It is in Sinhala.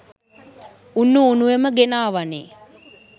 උණු උණුවෙම ගෙනාවනේ.